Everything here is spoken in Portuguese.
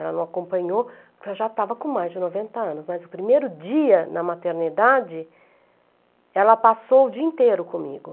Ela não acompanhou porque eu já estava com mais de noventa anos, mas o primeiro dia na maternidade, ela passou o dia inteiro comigo.